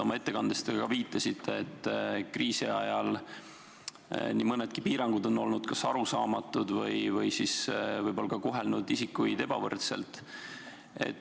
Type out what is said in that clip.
Oma ettekandes te viitasite, et kriisi ajal nii mõnedki piirangud on olnud kas arusaamatud või on kohelnud isikuid ebavõrdselt.